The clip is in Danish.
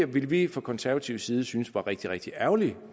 ville vi fra konservativ side synes var rigtig rigtig ærgerligt